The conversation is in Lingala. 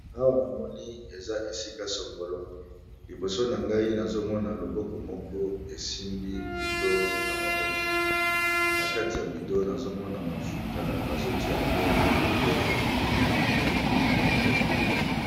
Awa na moni eza esika sangolo liboso na ngai nazomona loboko moko esimbi bido na maboko na kati ya bido nazomona mafuta bazotia yango na motere ya motuka.